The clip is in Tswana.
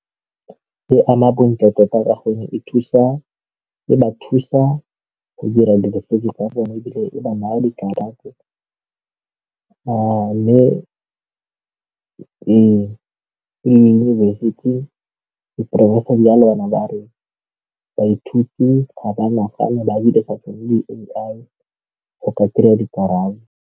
E ama bontle tota ka gore e ba thusa go dira tsa bone e ba naya dikarata a mme e di ya le bana ba rona, baithuti ga ba nagane ba dirisa le A_I go ka kry-a dikarabo.